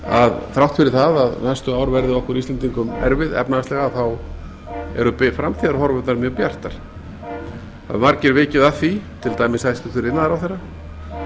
að þrátt fyrir að næstu ár verði okkur íslendingum erfið efnahagslega eru framtíðarhorfurnar mjög bjartar það hafa margir vikið að því til dæmis hæstvirtur iðnaðarráðherra